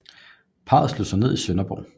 Parret slog sig ned i Sønderborg